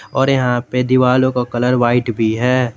और यहां पे दीवालो का कलर व्हाइट भी है।